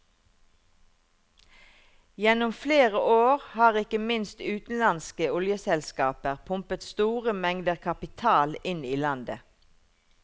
Gjennom flere år har ikke minst utenlandske oljeselskaper pumpet store mengder kapital inn i landet.